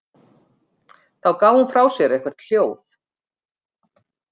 Þá gaf hún frá sér eitthvert hljóð.